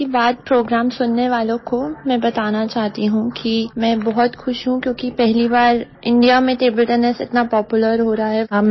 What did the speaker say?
मन की बात प्रोग्राम सुनने वालों को मैं बताना चाहती हूँ कि मैं बहुत खुश हूँ क्योंकि पहली बार इंडिया में टेबल टेनिस इतना पॉपुलर हो रहा है